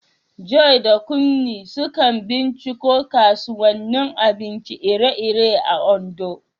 Joy da Kunmi sukan binciko kasuwannin abinci iri-iri a Ondo.